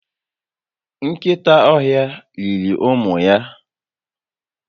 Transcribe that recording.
Nkịta ọhịa riri ụmụ ya